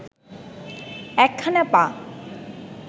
একখানা পা